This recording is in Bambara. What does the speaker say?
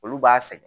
Olu b'a sɛgɛn